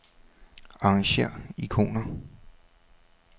Arrangér ikoner.